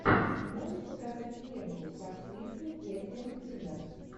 можешь показать ленту с актрисой кэтрин кинер